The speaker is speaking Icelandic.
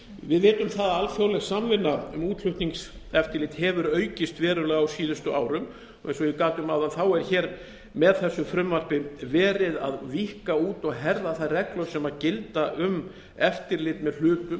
við vitum það að alþjóðleg samvinna um útflutningseftirlit hefur aukist verulega á síðustu árum og eins og ég gat um áðan er með þessu frumvarpi verið að víkka út og herða þær reglur sem gilda um eftirlit með hlutum